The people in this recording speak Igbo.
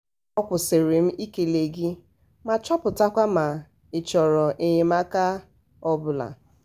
a kwụsịrị m ị kele gị ma chọpụtakwa ma ị chọrọ enyemaaka um ọbụla.